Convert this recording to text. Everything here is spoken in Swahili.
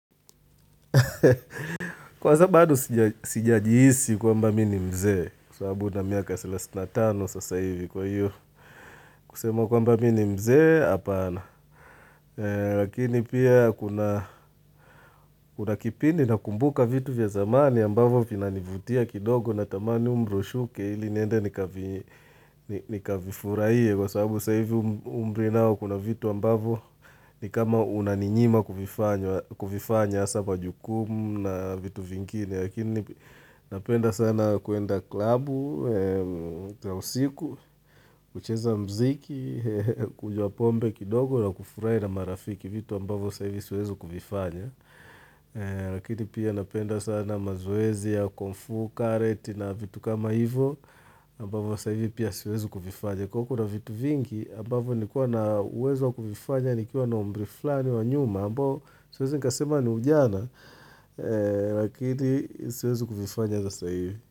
Kwa sababu badoo sijajiisi kwamba mi ni mzee Kwa sababu na miaka salasini na tano sasa hivi kwa hiyo kusema kwamba mi ni mzee hapana Lakini pia kuna kipindi na kumbuka vitu vya zamani ambavyo vina nivutia kidogo na tamani umri ushuke ili niende nikavifuraiye Kwa sababu sa hivi umri nao kuna vitu ambavo ni kama unaninyima kuvifanya hasa kwa jukumu na vitu vingine Lakini napenda sana kuenda klabu, trausiku, kucheza mziki, kunywa pombe kidogo na kufurahi na marafiki vitu ambavyo sa hivi siwezi kuvifanya. Lakini pia napenda sana mazoezi ya kungfu, karet na vitu kama hivo ambavo sa ivi pia siwezi kuvifanya. Kwa uo kuna vitu vingi ambavo ni kuwa na uwezo kuvifanya ni kiwa na umri flani wa nyuma ambao siwezi nikasema ni ujana lakini siwezi kuvifanya sasa hivi.